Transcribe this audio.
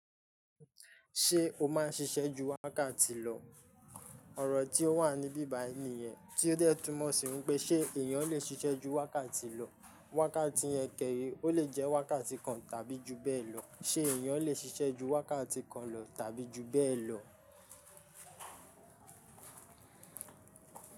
Ṣé o má ń ṣiṣẹ́ ju wákàtí lọ? Òrò tí ó wà ní bíbàí nìyẹn, tí ó dẹ̀ tún mọ̀ síwípé, ṣe èèyàn lè ṣiṣẹ́ ju wákàtí lọ. Wákàtí yẹn kẹ́re, ó lè jẹ́ wákàtí kan tàbí jù bẹ́ẹ̀ lọ. Ṣé èèyàn lè ṣiṣẹ́ ju wákàtí kan lọ tàbí ju bẹ́ẹ̀ lọ?